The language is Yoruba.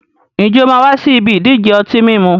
Ǹjẹ́ o máa wà sì ibi ìdíje ọtí mímu?